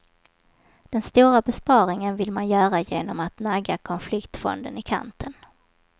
Den stora besparingen vill man göra genom att nagga konfliktfonden i kanten.